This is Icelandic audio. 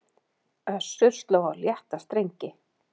Össur sló á létta strengi